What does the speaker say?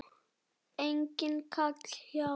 Enginn kall hjá